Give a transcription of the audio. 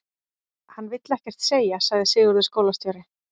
Hann vill ekkert segja, sagði Sigurður skólastjóri.